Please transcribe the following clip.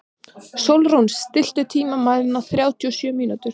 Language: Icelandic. Sólrún, stilltu tímamælinn á þrjátíu og sjö mínútur.